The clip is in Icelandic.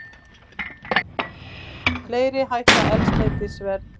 Fleiri hækka eldsneytisverð